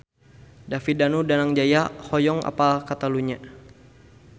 David Danu Danangjaya hoyong apal Catalunya